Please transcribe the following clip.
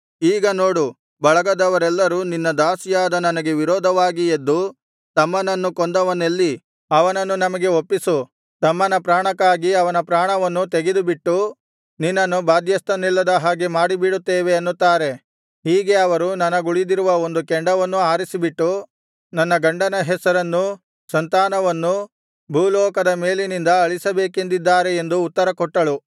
ಈಗ ನೋಡು ಬಳಗದವರೆಲ್ಲರು ನಿನ್ನ ದಾಸಿಯಾದ ನನಗೆ ವಿರೋಧವಾಗಿ ಎದ್ದು ತಮ್ಮನನ್ನು ಕೊಂದವನೆಲ್ಲಿ ಅವನನ್ನು ನಮಗೆ ಒಪ್ಪಿಸು ತಮ್ಮನ ಪ್ರಾಣಕ್ಕಾಗಿ ಅವನ ಪ್ರಾಣವನ್ನೂ ತೆಗೆದುಬಿಟ್ಟು ನಿನ್ನನ್ನು ಬಾಧ್ಯಸ್ಥನಿಲ್ಲದ ಹಾಗೆ ಮಾಡಿಬಿಡುತ್ತೇವೆ ಅನ್ನುತ್ತಾರೆ ಹೀಗೆ ಅವರು ನನಗುಳಿದಿರುವ ಒಂದು ಕೆಂಡವನ್ನೂ ಆರಿಸಿಬಿಟ್ಟು ನನ್ನ ಗಂಡನ ಹೆಸರನ್ನೂ ಸಂತಾನವನ್ನೂ ಭೂಲೋಕದ ಮೇಲಿನಿಂದ ಅಳಿಸಬೇಕೆಂದಿದ್ದಾರೆ ಎಂದು ಉತ್ತರ ಕೊಟ್ಟಳು